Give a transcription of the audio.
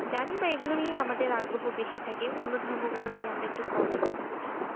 জানি বা এগুলো নিয়েই আমাদের আগ্রহ বেশি থাকে, অন্য ধর্মগুলো নিয়ে আমরা একটু কমই কথা বলি।